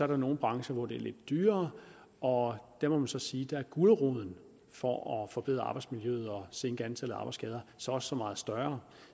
der nogle brancher hvor det er lidt dyrere og der må man så sige at guleroden for at forbedre arbejdsmiljøet og sænke antallet af arbejdsskader så også er så meget større